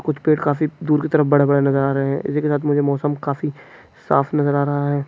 कुछ पेड़ काफी दूर की तरफ बड़े-बड़े नज़र आ रहे है इसी के साथ मौसम काफी साफ नज़र आ रहा है।